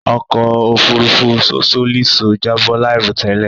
Òkò òfúrùfú Sosolíso jàbọ láìrọ̀ tẹ́lẹ̀